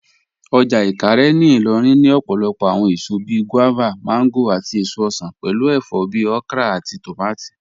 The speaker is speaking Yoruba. Ọjà Ìkàárẹ̀ ní Ìlòrìn ní òpòlòpò awọn èsò bíí guavas, mangoes, àtí èsò osan, pẹ̀lú èfọ̀ bíí okra àtí tómátí.